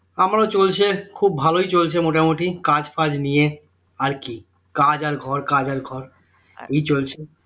আমারও চলছে খুব ভালোই চলছে মোটামুটি কাজ ফাজ নিয়ে আর কি? কাজ আর ঘর কাজ আর ঘর ওই চলছে